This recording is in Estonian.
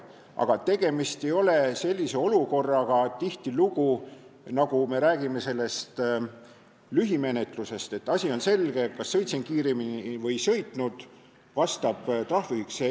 Aga tegemist ei ole tihtilugu sellise olukorraga, nagu on lühimenetluse korral, et asi on selge, kas sõitsin kiiremini või ei sõitnud, ja on teada trahviühik.